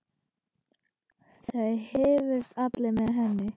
Það hrifust allir með henni.